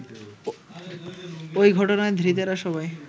ওই ঘটনায় ধৃতেরা সবাই